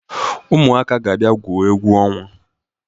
Ụmụaka ga-abia gwuo egwu ọnwa.